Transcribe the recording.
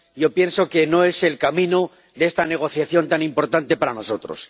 Yo pienso que no es el camino de esta negociación tan importante para nosotros.